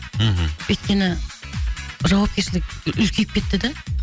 мхм өйткені жауапкершілік үлкейіп кетті да